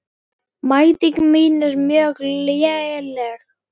Mæting mín er mjög léleg.